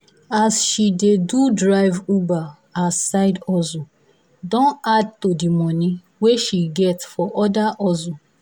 as she dey do drive uber as side hustle don add to the money wey she get for other hustle